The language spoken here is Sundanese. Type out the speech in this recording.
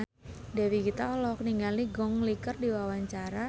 Dewi Gita olohok ningali Gong Li keur diwawancara